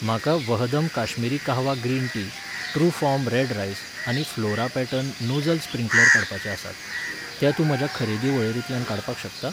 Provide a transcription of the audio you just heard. म्हाका वहदम Kashmiri kahwa green tea, Trufarm red rice आनी फ्लोरा पॅटर्न नोजल स्प्रिंकलर काडपाचे आसात, ते तूं म्हज्या खरेदी वळेरेंतल्यान काडपाक शकता?